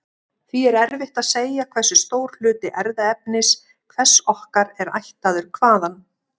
Því er erfitt að segja hversu stór hluti erfðaefnis hvers okkar er ættaður hvaðan.